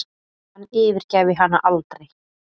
Hann yfirgæfi hana aldrei.